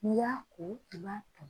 N'i y'a ko i b'a to